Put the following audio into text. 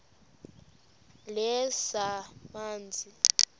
lezamanzi